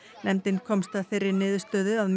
nefndin komst að þeirri niðurstöðu að